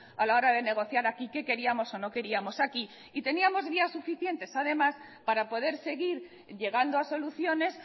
a la hora de negociar aquí qué queríamos o no queríamos aquí y teníamos vías suficientes además para poder seguir llegando a soluciones